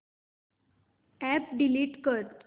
app delete कर